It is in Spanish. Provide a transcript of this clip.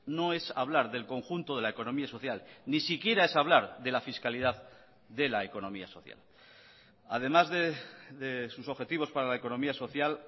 no es hablar del conjunto de la economía social ni siquiera es hablar de la fiscalidad de la economía social además de sus objetivos para la economía social